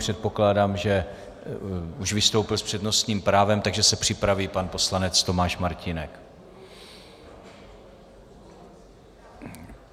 Předpokládám, že už vystoupil s přednostním právem, takže se připraví pan poslanec Tomáš Martínek.